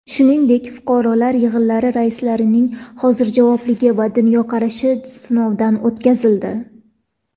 Shuningdek, fuqarolar yig‘inlari raislarining hozirjavobligi va dunyoqarashi sinovdan o‘tkazildi.